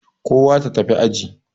Kowa ta tafi aji.